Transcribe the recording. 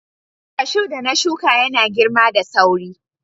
Cashew da na shuka yana girma da sauri.